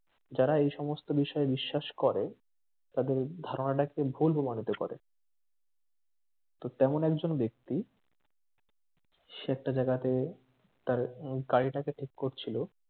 যারা এইসমস্ত বিষয়ে বিশ্বাস করে তাঁদের ধারণাটাকে ভুল প্রমাণিত করে তো তেমন একজন ব্যাক্তি সে একটা জাগাতে তার গাড়িটাকে ঠিক করছিলো